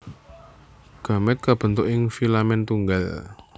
Gamèt kabentuk ing filamen tunggal